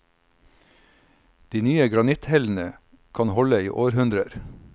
De nye granitthellene kan holde i århundrer.